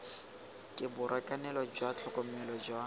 ke borakanelo jwa tlhokomelo jwa